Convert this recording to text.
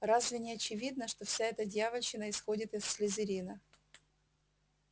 разве не очевидно что вся эта дьявольщина исходит из слизерина